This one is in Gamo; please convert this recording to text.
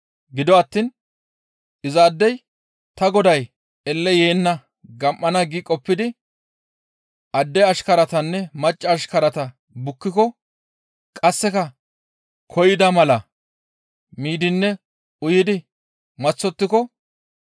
Gido attiin, ‹Izaadey ta goday elle yeenna gam7ana› gi qoppidi adde ashkaratanne macca ashkarata bukkiko, qasseka koyida mala miidinne uyidi maththottiko,